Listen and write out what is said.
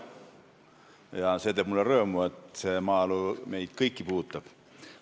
Mulle teeb rõõmu, et maaelu teema meid kõiki puudutab.